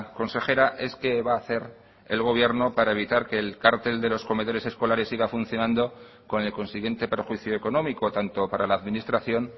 consejera es qué va a hacer el gobierno para evitar que el cártel de los comedores escolares siga funcionando con el consiguiente perjuicio económico tanto para la administración